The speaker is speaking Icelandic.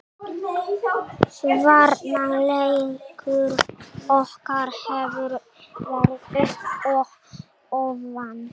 Varnarleikur okkar hefur verið upp og ofan.